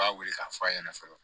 U b'a wele k'a fɔ a ɲɛna fɔlɔ